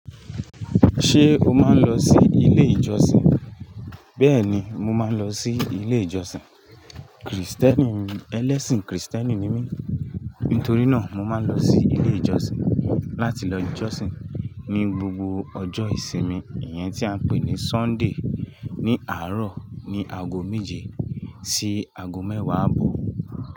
Ṣé o máa ń lọ sí ilé ìjọsìn? Bẹ́ẹ̀ ni, mo máa ń lọ sí ilé ìjọsìn. Krìstẹ́nì, ẹlẹ́sìn Krìstẹ́nì ni mí. Nítorí náà, mo máa ń lọ sí ilé ìjọsìn láti lọ jọsìn ní gbogbo ọjọ́ ìsinmi, ìyẹn tí a ń pè ní Sunday. Ni àárọ̀ ní aago méje sí aago mẹ́wàá àbọ̀.